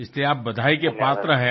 इसलिए आप बधाई के पात्र है